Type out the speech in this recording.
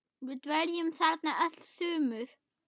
Við dveljum þarna öll sumur.